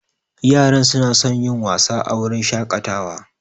Yara suna son yin wasa a wurin shakatawa